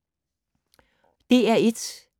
DR1